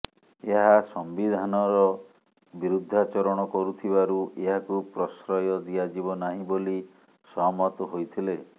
ଏହା ସମ୍ବିଧାନର ବିରୁଦ୍ଧାଚରଣ କରୁଥିବାରୁ ଏହାକୁ ପ୍ରଶ୍ରୟ ଦିଆଯିବ ନାହିଁ ବୋଲି ସହମତ ହୋଇଥିଲେ